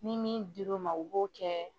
Ni min dir'o ma o b'o kɛ.